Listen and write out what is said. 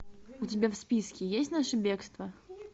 у тебя в списке есть наше бегство